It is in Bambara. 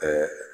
Ka